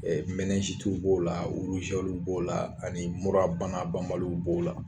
b'o la b'o la ani murabana banbaliw b'o la.